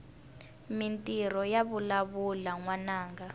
mintirho yavalavula nwananga